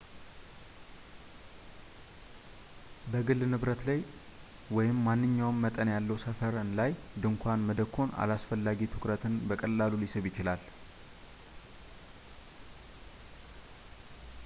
በግል ንብረት ላይ ወይም ማንኛውም መጠን ያለው ሰፈር ላይ ድንኳን መደኮን አላስፈላጊ ትኩረትን በቀላሉ ሊስብ ይችላል